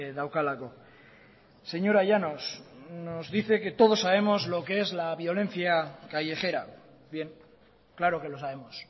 daukalako señora llanos nos dice que todos sabemos lo que es la violencia callejera bien claro que lo sabemos